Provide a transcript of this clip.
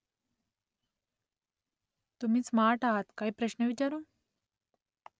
तुम्ही स्मार्ट आहात . काही प्रश्न विचारू ?